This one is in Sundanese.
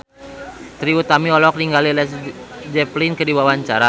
Trie Utami olohok ningali Led Zeppelin keur diwawancara